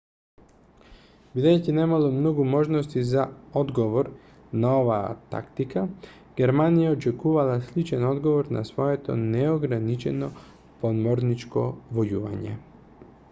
бидејќи немало многу можности за одговор на оваа тактика германија очекувала сличен одговор на своето неограничено подморничко војување